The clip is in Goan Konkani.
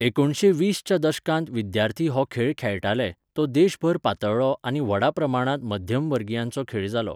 एकुणशे वीस च्या दशकांत विद्यार्थी हो खेळ खेळटाले, तो देशभर पातळ्ळो आनी व्हडा प्रमाणांत मध्यमवर्गियांचो खेळ जालो.